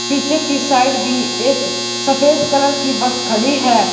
पीछे कि साइड भी एक सफेद कलर कि बस खड़ी है।